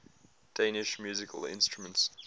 danish musical instruments